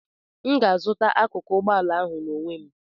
M ga-azụta akụkụ ụgbọ ala ahụ n'onwe m